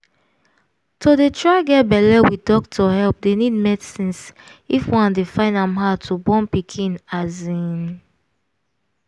to dey try get balle with doctor help dey need medicines if one dey find am hard to born pikin asin